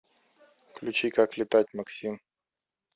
включи как летать максим